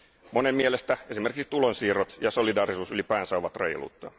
Monen mielestä esimerkiksi tulonsiirrot ja solidaarisuus ylipäänsä ovat reiluutta.